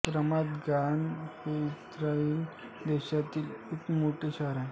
रमात Gan हे Israel देशातील एक मोठे शहर आहे